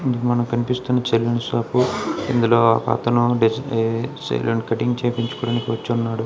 మనకి కనిపిస్తున్న salon shop ఇందులో అతను డేజీ ఏ సెలూన్ కటింగ్ చెపించుకున్నీకి వచ్చున్నాడు.